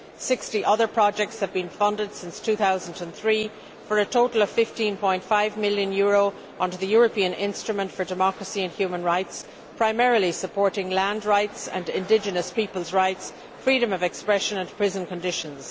60 other projects have been funded since 2003 for a total of EUR 15.5 million under the European Instrument for Democracy and Human Rights, primarily supporting land rights and indigenous peoples' rights, freedom of expression and prison conditions.